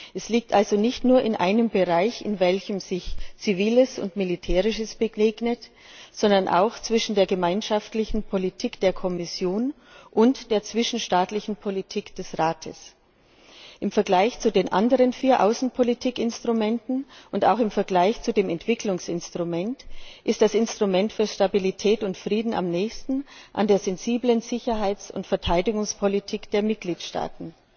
Es liegt also nicht nur in einem Bereich, in welchem sich Ziviles und Militärisches begegnet, sondern auch zwischen der gemeinschaftlichen Politik der Kommission und der zwischenstaatlichen Politik des Rates. Im Vergleich zu den anderen vier Außenpolitikinstrumenten und auch im Vergleich zu dem Entwicklungsinstrument, ist das Instrument für Stabilität und Frieden am nächsten an der sensiblen Sicherheits und Verteidigungspolitik der Mitgliedstaaten.